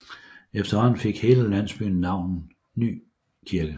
Efterhånden fik hele landsbyen navnet Nykirke